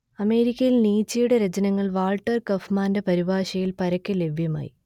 അമേരിക്കയിൽ നീച്ചയുടെ രചനകൾ വാൾട്ടർ കൗഫ്മാന്റെ പരിഭാഷയിൽ പരക്കെ ലഭ്യമായി